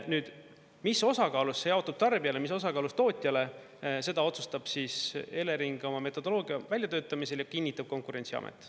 Nüüd, mis osakaalus see jaotub tarbijale, mis osakaalus tootjale, seda otsustab Elering oma metodoloogia väljatöötamisel ja kinnitab Konkurentsiamet.